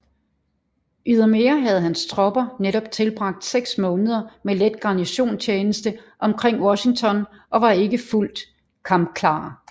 Ydermere havde hans tropper netop tilbragt seks måneder med let garnisonstjeneste omkring Washington og var ikke fulgt kampklare